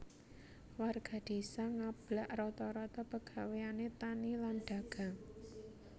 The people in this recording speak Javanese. Warga désa ngablak rata rata pegawéané tani lan dagang